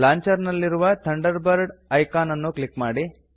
launcher ನಲ್ಲಿರುವ Thunderbird icon ಅನ್ನು click ಮಾಡಿ